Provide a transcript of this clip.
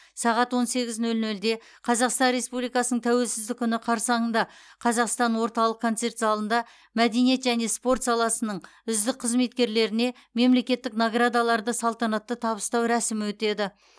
сағат он сегіз нөл нөлде қазақстан республикасының тәуелсіздік күні қарсаңында қазақстан орталық концерт залында мәдениет және спорт саласының үздік қызметкерлеріне мемлекеттік наградаларды салтанатты табыстау рәсімі өтеді